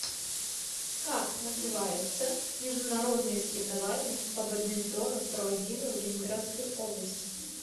как называются международные соревнования по бадминтону проводимые в ленинградской области